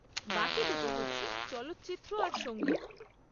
বাকি দুটো হচ্ছে চলচ্চিত্র আর সঙ্গীত।